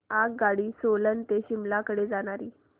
आगगाडी सोलन ते शिमला कडे जाणारी